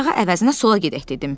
sağa əvəzinə sola gedək dedim.